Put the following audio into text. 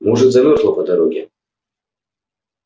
может замёрзла по дороге